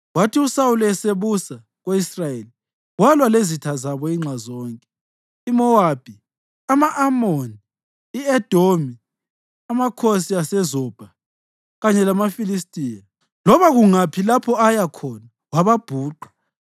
Kwathi uSawuli esebusa ko-Israyeli, walwa lezitha zabo inxa zonke: iMowabi, ama-Amoni, i-Edomi, amakhosi aseZobha kanye lamaFilistiya. Loba kungaphi lapho aya khona, wababhuqa.